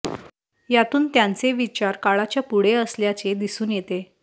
यातून त्यांचे विचार काळाच्या पुढे असल्याचे दिसून येते